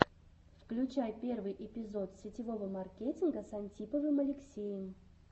включай первый эпизод сетевого маркетинга с антиповым алексеем